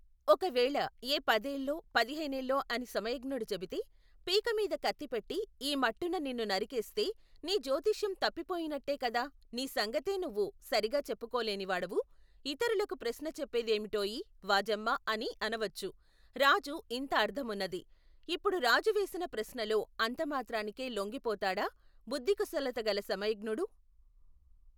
ఒకవేళ ఏ పదేళ్ళో, పదిహేనేళ్ళో అని సమయజ్ఞుడు చెబితే పీకమీద కత్తిపెట్టి ఈమట్టున నిన్ను నరికేస్తే నీజ్యోతిష్యం తప్పి పోయినట్టే కద నీ సంగతే నువ్వు, సరిగా చెప్పుకోలేనివాడవు ఇతరులకు ప్రశ్న చెప్పే దేమిటోయి వాజమ్మా అని అనవచ్చు రాజు ఇంత అర్ధమున్నది ఇప్పుడు రాజు వేసిన ప్రశ్నలో అంతమాత్రానికే లొంగిపోతాడా బుద్దికుశలతగల సమయజ్ఞుడు.